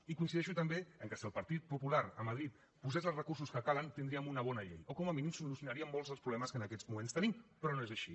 i coincideixo també amb el fet que si el partit popular a madrid posés els recursos que calen tindríem una bona llei o com a mínim solucionaríem molts dels problemes que en aquests moments tenim però no és així